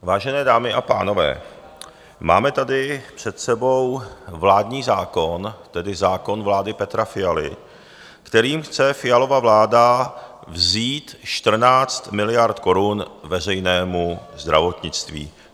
Vážené dámy a pánové, máme tady před sebou vládní zákon, tedy zákon vlády Petra Fialy, kterým chce Fialova vláda vzít 14 miliard korun veřejnému zdravotnictví.